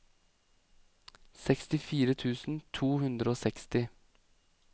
sekstifire tusen to hundre og seksti